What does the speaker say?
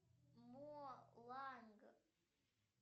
моланг